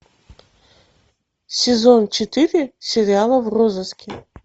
сезон четыре сериала в розыске